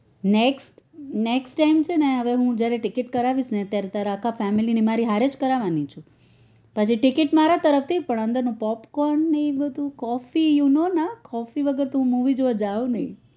next next time ને હવે હું જયારે છે ને ticket કરાવીસ ત્યારે તારા અખા family મારી હારીજ કરાવાની છે family મારા તરફથી પણ અંદર નું popcorn ને એ બધું coffee you know માં coffee વગર તો હું movie જોવા જાઉં નઈ